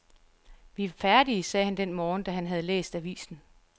Vi er færdige, sagde han den morgen, da han havde læst avisen.